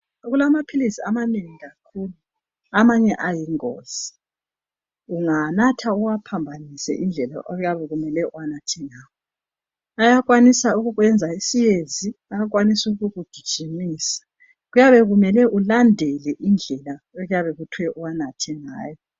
Kulamaphilisi amanengi kakhulu amanye ayingozi ungawanatha uwaphambanise indlela okuyabe kumele uwanathe ngayo ayakwanisa ukukwenza isiyezi amanye ayakugijimisa kuyabe kumele ulanadele indlela okuyabe kuthwe uwanathe ngayo